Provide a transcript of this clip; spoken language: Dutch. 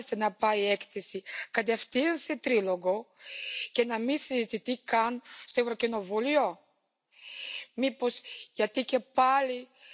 de inrichting van hun sociale systeem en hun pensioensysteem en dat moet vooral ook zo blijven. Het kan niet anders.